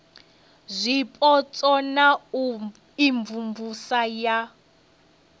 zwipotso na u imvumvusa ya